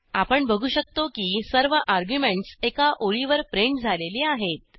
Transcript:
आपण बघू शकतो की सर्व अर्ग्युमेंटस एका ओळीवर प्रिंट झालेली आहेत